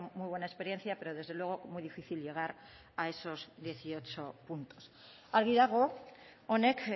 muy buena experiencia pero desde luego muy difícil llegar a esos dieciocho puntos argi dago honek